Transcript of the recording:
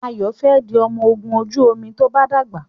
Ayo fè di ọmọ ògún ojú omi to bá dàgbà.